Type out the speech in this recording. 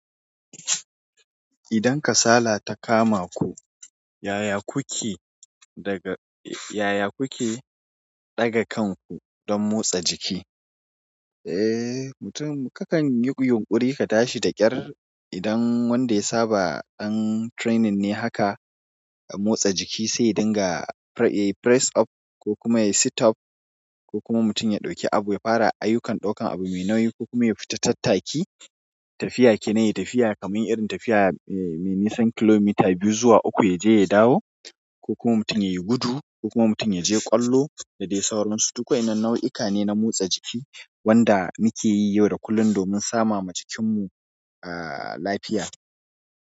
Idan kasala ta kama ku, yaya kuke daga, yaya kuke daga kanku don motsa jiki? Eh, mutum kakan yi yunƙuri ka tashi da ƙyar. Idan wanda ya saba dan training ne haka a motsa jiki, sai ya dinga pre- e press up ko kuma yayi sit up ko kuma mutum ya ɗauki abu, ya fara ayukan ɗaukan abu mai nauyi ko kuma ya fita tattaki. Tafiya kenan yayi tafiya kamar irin tafiya mai nisan kilomita biyu zuwa uku ya je ya dawo ko kuma mutum ya yi gudu ko kuma mutum ya je ƙwallo da dai sauransu. Duk wayannan nau'ika ne na motsa jiki waɗanda muke yi yau da kullum domin sama ma jikinmu, ah, lafiya.